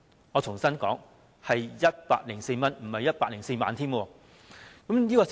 我重複，是104元，不是104萬元。